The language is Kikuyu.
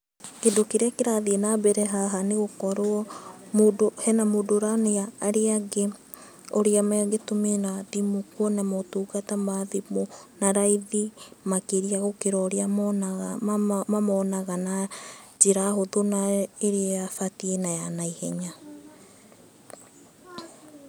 Kĩndũ kĩrĩa kĩrathiĩ na mbere haha nĩ gũkorwo mũndũ, hena mũndũ ũronia arĩa angĩ ũrĩa mangĩtũmĩra thimũ kuona motungata ma thimũ na raithi makĩria gũkĩra ũrĩa monaga, mamonaga njĩra hũthũ na ĩrĩa batiĩ na ya na ihenya.